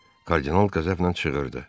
Kardinal qəzəblə çığırdı.